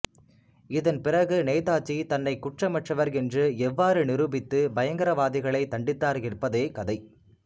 இதன் பிறகு நேதாஜி தன்னை குற்றமற்றவர் என்று எவ்வாறு நிரூபித்து பயங்கரவாதிகளை தண்டித்தார் எப்பதே கதை